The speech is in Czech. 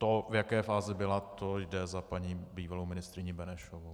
To, v jaké fázi byla, to jde za paní bývalou ministryní Benešovou.